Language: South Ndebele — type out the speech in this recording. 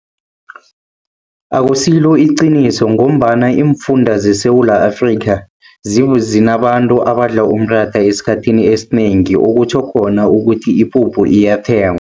Akusilo iqiniso ngombana iimfunda zeSewula Afrikha, zinabantu abadla umratha esikhathini esinengi. Okutjho khona ukuthi ipuphu iyathengwa.